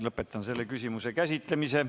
Lõpetan selle küsimuse käsitlemise.